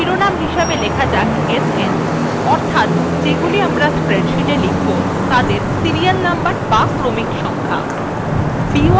আসুন শিরোনাম হিসাবে লেখা যাক sn অর্থাৎ যেগুলি আমরা স্প্রেডশীটএ লিখব তাদের সিরিয়ালনম্বর বা ক্রমিক সংখ্যা